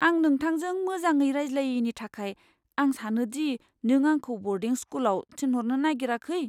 आं नोंथांजों मोजाङै रायज्लायैनि थाखाय, आं सानो दि नों आंखौ ब'र्डिं स्कुलाव थिनहरनो नायगिराखै?